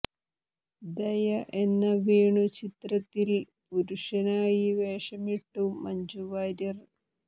ദയ എന്ന വേണു ചിത്രത്തിൽ പുരുഷനായി വേഷമിട്ടു മഞ്ജു വാര്യർ